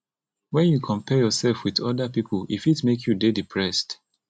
when you compare yourself with oda pipo e fit make you dey depressed